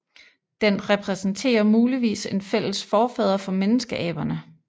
Den repræsenterer muligvis en fælles forfader for menneskeaberne